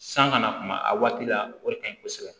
San kana kuma a waati la o de ka ɲi kosɛbɛ